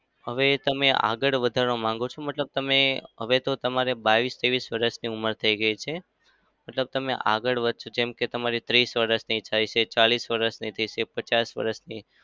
હવે તમે આગળ વધારવા માંગો છો. મતલબ તમે હવે તો તમારે બાવીશ-તેવીશ વર્ષની ઉંમર થઇ ગઈ છે. મતલબ તમે આગળ વધશો જેમ કે તમારે ત્રીસ વર્ષની થઇ છે, ચાળીસ વર્ષની થઇ છે, પચાસ વર્ષની